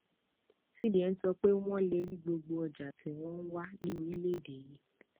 cbn sọ pé wọn lè rí gbogbo ọjà tí wọn wà ní orílẹèdè yìí